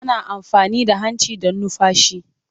Ana amfani da hanci don numfashi.